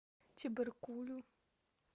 чебаркулю